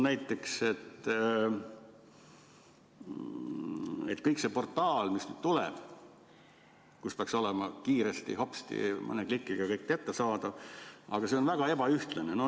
See portaal, mis nüüd tuleb, kus peaks olema hopsti mõne klikiga kõik kättesaadav, on väga ebaühtlane.